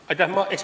Aitäh!